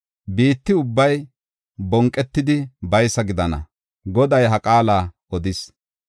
Biitta ubbay bonqetidi baysa gidana; Goday ha qaala odis.